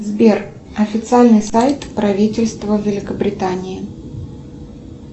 сбер официальный сайт правительства великобритании